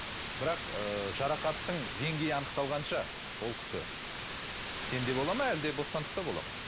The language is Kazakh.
бірақ ыыы жарақаттың деңгейі анықталғанша ол кісі кісенде болады ма әлде бостандықта болады ма